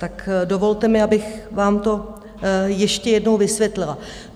Tak dovolte mi, abych vám to ještě jednou vysvětlila.